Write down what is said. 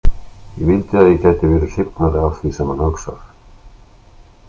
Ég vildi að ég gæti verið hrifnari af því sem hann hugsar.